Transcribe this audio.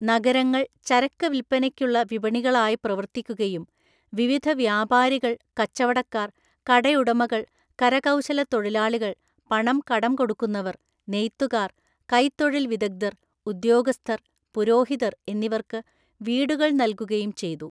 നഗരങ്ങൾ ചരക്ക് വിൽപ്പനയ്ക്കുള്ള വിപണികളായി പ്രവർത്തിക്കുകയും വിവിധ വ്യാപാരികൾ, കച്ചവടക്കാര്‍, കടയുടമകൾ, കരകൌശലത്തൊഴിലാളികൾ, പണം കടം കൊടുക്കുന്നവർ, നെയ്ത്തുകാർ, കൈത്തൊഴില്‍വിദഗ്ധര്‍, ഉദ്യോഗസ്ഥർ, പുരോഹിതര്‍ എന്നിവർക്ക് വീടുകൾ നൽകുകയും ചെയ്തു.